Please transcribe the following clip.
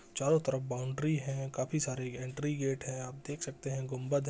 चारों तरफ बाउंड्री है। काफी सारे एंट्री गेट हैं आप देख सकते हैं गुंबद है।